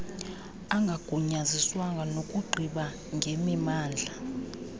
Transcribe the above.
angagunyaziswanga nokugqiba ngemimandla